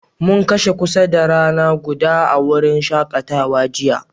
Mun kashe kusa da rana guda a'wurin shakatawan jiya.